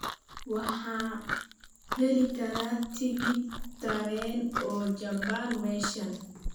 Waxa aan heli karaa tigidh tareen oo jaban meeshan